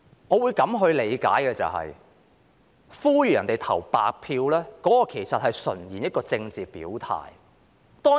我會這樣理解，呼籲別人投白票純粹是一種政治表態。